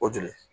O jeli